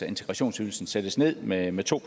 integrationsydelsen sættes ned med med to